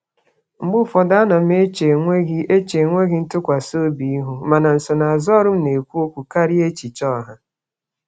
Mgbe ụfọdụ, ana m eche enweghị eche enweghị ntụkwasị obi ihu, mana nsonaazụ ọrụ m na-ekwu okwu karịa echiche ọha.